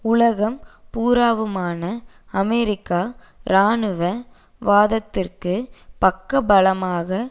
உலகம் பூராவுமான அமெரிக்க இராணுவ வாதத்திற்கு பக்க பலமாக